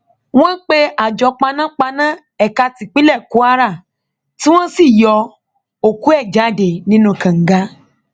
wọn pe àjọ panápaná ẹka tipinlẹ kwara tí wọn sì yọ òkú ẹ jáde nínú kànga náà